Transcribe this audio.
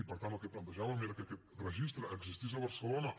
i per tant el que plantejàvem era que aquest registre existís a barcelona